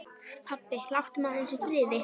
Pabbi, láttu mig aðeins í friði.